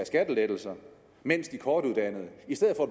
skattelettelser mens de kortuddannede